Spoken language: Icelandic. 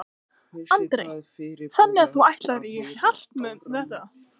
Andri: Þannig að þú ætlar í hart með þetta?